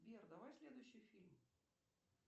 сбер давай следующий фильм